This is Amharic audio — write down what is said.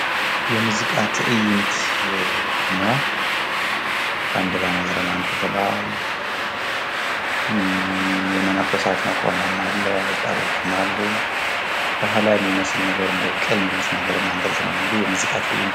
የሙዚቃ ትእይንት ነው ፤ ባንዲራ ነገር አንጠልጥለዋል ፣ የመነኮሳት መቆሚያም አለ ፤ ወጣቶችም አሉ ፣ ባህላዊ የሚመስል ቅል ሚመስል ነገር አንጠልጥለው ነው እንግዲ የሙዚቃ ትእይንት